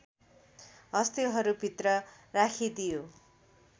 हस्तीहरुभित्र राखिदियो